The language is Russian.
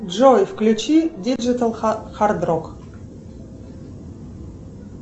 джой включи диджитал хард рок